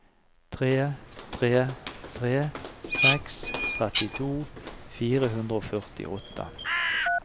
tre tre tre seks trettito fire hundre og førtiåtte